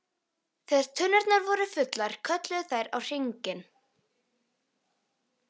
Þegar tunnurnar voru fullar kölluðu þær á HRING!